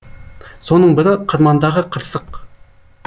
соның бірі қырмандағы қырсық